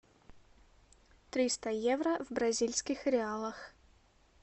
триста евро в бразильских реалах